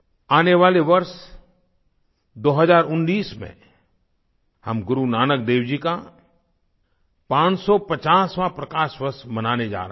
आने वाले वर्ष 2019 में हम गुरु नानक देव जी का 550वाँ प्रकाश वर्ष मनाने जा रहे हैं